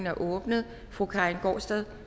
er åbnet fru karin gaardsted